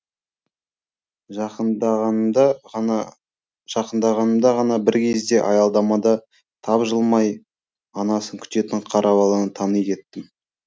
жақындағанымда ғана бір кезде аялдамада тапжылмай анасын күтетін қара баланы тани кеттім